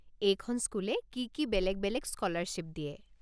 এইখন স্কুলে কি কি বেলেগ বেলেগ স্কলাৰশ্বিপ দিয়ে?